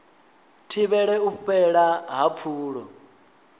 thivhele u fhela ha pfulo